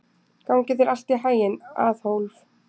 Gangi þér allt í haginn, Aðólf.